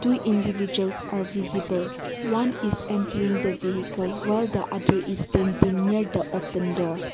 two individuals are visible one is entering the vehicle while the other is painting near the open door.